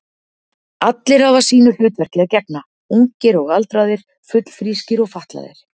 Allir hafa sínu hlutverki að gegna, ungir og aldraðir, fullfrískir og fatlaðir.